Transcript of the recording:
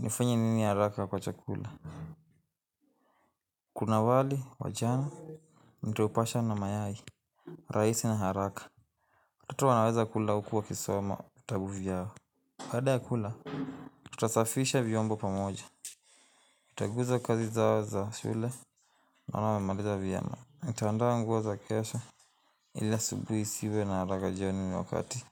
Nifanye nini haraka kwa chakula. Kuna wali, wajana, nitaupasha na mayai, rahisi na haraka. Watoto wanaweza kula hukuwa kisoma, vitabuvyao. Baada ya kula, tutasafisha vyombo pamoja. Nitaguza kazi zao za shule, naonawa memaliza vyema. Nitandaa nguo za kesho ili asubihiisiwe na harakajioni niwakati.